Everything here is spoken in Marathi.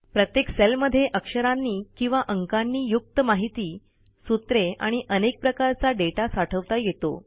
प्रत्येक सेलमध्ये अक्षरांनी किंवा अंकांनी युक्त माहिती सूत्रे आणि अनेक प्रकारचा दाता साठवता येतो